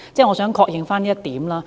我想確認這一點。